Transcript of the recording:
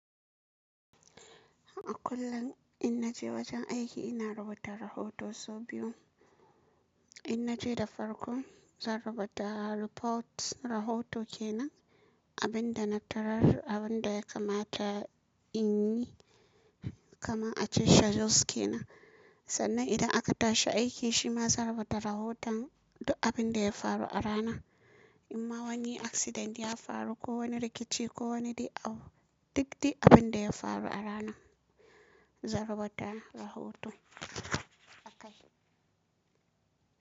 A kullum in naje wajen aiki ina rubuta rahoton sau biyu. In naje da farko zan rubuta report rahoto kenan, abin da na tarar abun da ya kamata in yi, kamar a cewa schedules kenan. Sannan idan aka tashi aiki shi ma zan rubuta rahoton duk abin da ya faru a ranar. In ma wani accident ya faru ko wani rikici ko wani dai, duk duk abin da ya faru a ranar zan rubata rahoto akai.